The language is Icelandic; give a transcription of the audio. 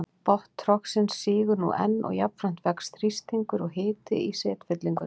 Botn trogsins sígur nú enn og jafnframt vex þrýstingur og hiti í setfyllingunni.